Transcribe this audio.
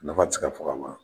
Nafa tɛ se ka fɔ ka ban.